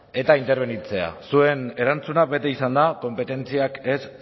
eta interbenitzea zuen erantzuna beti izan da konpetentziak ez